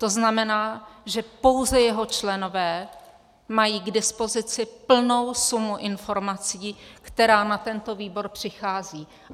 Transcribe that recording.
To znamená, že pouze jeho členové mají k dispozici plnou sumu informací, která na tento výbor přichází.